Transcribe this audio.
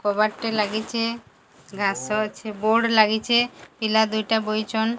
କବାଟଟେ ଲାଗିଚେ। ଘାସ ଅଛି ବୋର୍ଡ ଲାଗିଚେ ପିଲାଦୁଇଟା ବଇଚନ।